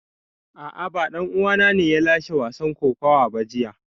A'a ba dan uwana ne ya lashe wasan kokawa ba jiya